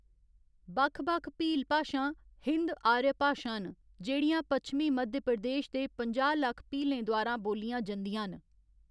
बक्ख बक्ख भील भाशां हिन्द आर्य भाशां न जेह्‌‌ड़ियां पच्छमी मध्य प्रदेश दे पंजाह्‌ लक्ख भीलें द्वारा बोल्लियां जंदियां न।